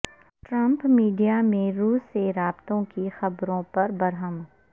Trump media میں روس سے رابطوں کی خبروں پر برہم